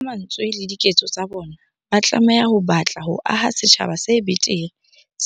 Ka mantswe le diketso tsa bona, ba tlameha ho batla ho aha setjhaba se betere,